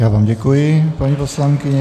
Já vám děkuji, paní poslankyně.